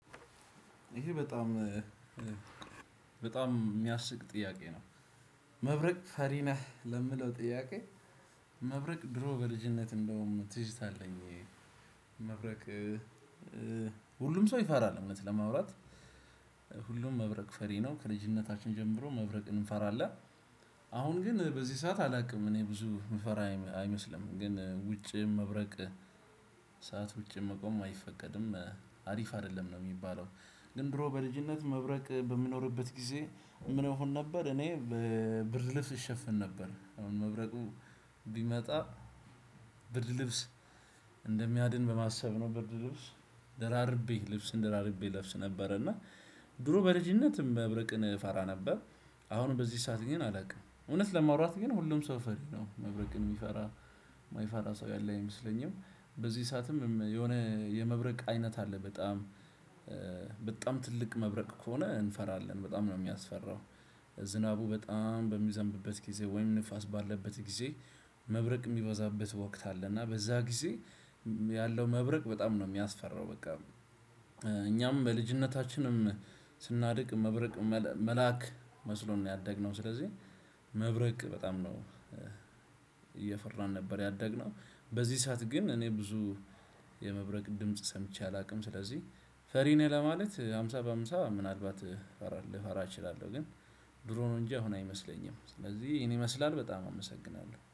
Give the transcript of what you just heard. ይሄ በጣም በጣም የሚያስቅ! ጥያቄ ነው። መብረቅ ፈሪ ነህ? ለሚለው ጥያቄ መብረቅ ድሮ በልጅነት እንዳውም ትዝታ አለኝ። መብረቅ ሁሉም ሰው ይፈራል፤ እውነት ለማውራት፣ ሁሉም መብረቅ ፈሪ ነው። ከልጅነታችን ጀምሮ መብረቅ እንፈራለን። አሁን ግን በዚህ ሰዓት አላውቅም፤ እኔ ብዙ የምፈራ አይመስልም፤ ግን ውጭ መብረቅ ሰዓት ውጭ መቆም አይፈቀድም አሪፍ አይደለም ነው የሚባለው፤ ግን ድሮ በልጅነት መብረቅ በሚኖርበት ጊዜ ምን እሆን ነበር እኔ ብርድ ልብስ እሸፍን ነበር። መብረቁ ቢመጣ ብርድ ልብስ እንደሚያድ በ ማሰብ ነው ብርድ ልብስ ደራርቤ ልብስ ደራርቤ እለብስ ነበር እና ድሮ በልጅነት መብረቅን እፈራ ነበር። አሁን በዚህ ሰዓት ግን አላውቅም እውነት ለማውራት ግን ሁሉም ሰው ፈሪ ነው። መብረቅን የሚፈራ የማይፈራ ሰው ያለ አይመስለኝም። በዚህ ሰዓትም የሆነ የመብረቅ አይነት አለ፤ በጣም በጣም ትልቅ መብረቅ ከሆነ እንፈራለን፤ በጣም ነው የሚያስፈራው ዝናቡ በጣም በሚዘንብበት ጊዜ ወይም ንፋስ ባለበት ጊዜ መብረቅ ሚበዛበት ወቅት አለ፤ እና በዛ ጊዜ ያለው መብረቅ በጣም ነው የሚያስፈራው በቃ እኛም በልጅነታችንም ስናድግ መብረቅ መልአክ መስሎን ነው ያደግነው። ስለዚህ መብረቅ በጣም ነው እየፈራን ነበር ያደግነው። በዚህ ሰዓት ግን እኔ ብዙ የመብረቅ ድምጽ ሰምቼ አላውቅም፤ ስለዚህ ፈሪ ነው ለማለት ሃምሳ በሃምሳ ምናልባት ልፈራ እችላለሁ ግን ድሮ ነው እንጂ አሁን አይመስለኝም፤ ስለዚህ ይሄን ይመስላል በጣም አመሰግናለሁ።